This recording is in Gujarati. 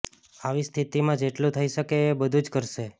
આવી સ્થિતિમાં જેટલુ થઈ શકે એ બધુ જ કરશે